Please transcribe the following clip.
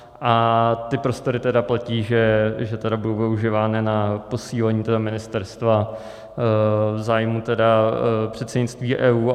A ty prostory tedy platí, že budou využívány na posílení ministerstva v zájmu předsednictví EU?